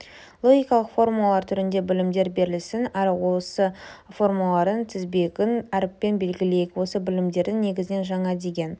логикалық формулалар түрінде білімдер берілсін ал осы формулалардың тізбегін әрпімен белгілейік осы білімдердің негізінен жаңа деген